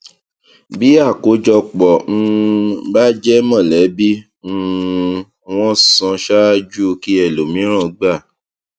bí àkójọpọ um bá jẹ mọlẹbí um wón san ṣáájú kí ẹlòmíràn gba